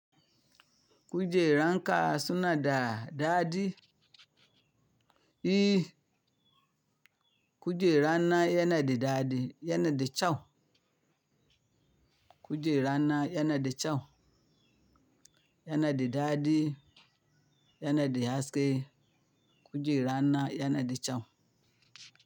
Kujeran ka suna da dadi? I. Kujera na yana da dadi, yana da kyau. Kujera na yana da kyau, yana da dadi, yana da haske. Kujera na yana da kyau.